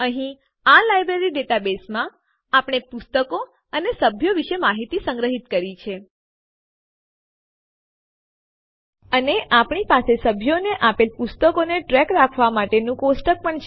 અહીં આ લાઈબ્રેરી ડેટાબેઝમાં આપણે પુસ્તકો અને સભ્યો વિશે માહિતી સંગ્રહિત કરી છે અને આપણી પાસે સભ્યોને આપેલ પુસ્તકોનો ટ્રેક રાખવા માટેનું કોષ્ટક પણ છે